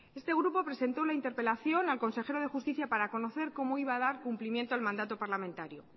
este grupo presentó la interpelación al consejero de justicia para conocer cómo iba a dar cumplimiento al mandato parlamentario